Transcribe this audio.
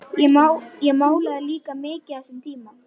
Ég málaði líka mikið á þessum tíma.